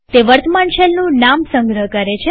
તે વર્તમાન શેલનું નામ સંગ્રહ કરે છે